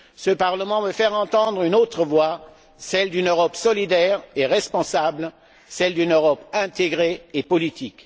Ce Parlement veut faire entendre une autre voix, celle d'une Europe solidaire et responsable, celle d'une Europe intégrée et politique.